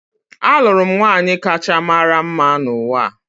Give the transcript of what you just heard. Alụrụ m nwaanyị kacha mara mma n’ụwa